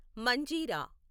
Manjira